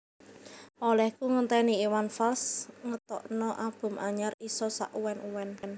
Olehku ngenteni Iwan Fals ngetokno album anyar iso sak uwen uwen